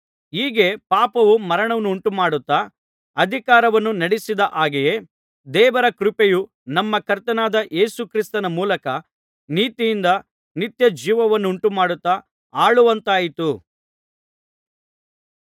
ಹೀಗೆ ಪಾಪವು ಮರಣವನ್ನುಂಟು ಮಾಡುತ್ತಾ ಅಧಿಕಾರವನ್ನು ನಡಿಸಿದ ಹಾಗೆಯೇ ದೇವರ ಕೃಪೆಯು ನಮ್ಮ ಕರ್ತನಾದ ಯೇಸು ಕ್ರಿಸ್ತನ ಮೂಲಕ ನೀತಿಯಿಂದ ನಿತ್ಯಜೀವವನ್ನುಂಟುಮಾಡುತ್ತಾ ಆಳುವಂತಾಯಿತು